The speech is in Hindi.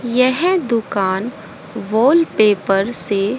यह दुकान वॉलपेपर से--